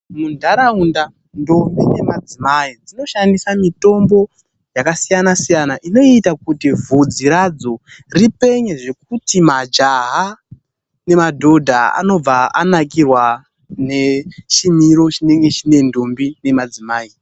Munharaunda ndombi nemadzimai zvinoshandisa mitombo yakasiyana siyana inoita kuti vhudzi radzo ripenye zvekuti majaha nemadhodha anobva anakirwa ngechimiro chinenge chine ndombi nemadzimai.